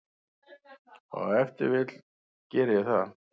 Og ef til vill geri ég það.